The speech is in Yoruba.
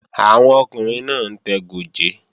Àwọn ọkùnrin náà ń tẹ gòjé